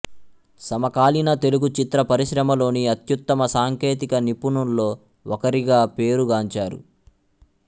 సమకాలీన తెలుగు చిత్ర పరిశ్రమలోని అత్యుత్తమ సాంకేతిక నిపుణుల్లో ఒకరిగా పేరుగాంచారు